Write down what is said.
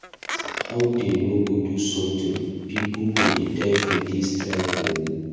How dey no go do something, people go die for dis strike oo.